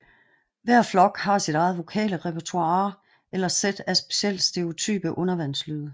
Hver flok har sit eget vokale repertoire eller sæt af specielt stereotype undervandslyde